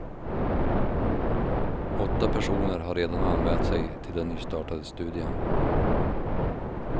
Åtta personer har redan anmält sig till den nystartade studien.